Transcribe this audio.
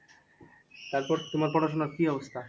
তারপর তোমার পড়াশোনার কি অবস্থা?